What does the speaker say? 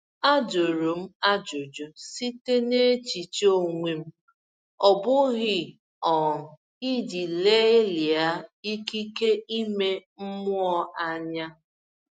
A jụrụ m ajụjụ site n’echiche onwe m, ọ bụghị um iji lelia ikike ime mmụọ anya.